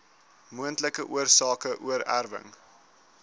moontlike oorsake oorerwing